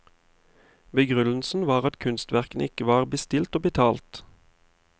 Begrunnelsen var at kunstverkene ikke var bestilt og betalt.